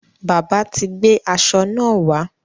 Bábà ti gbé aṣọ náà wá.